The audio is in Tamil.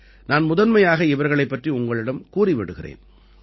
நான் முதன்மையாக இவர்களைப் பற்றி உங்களிடம் கூறி விடுகிறேன்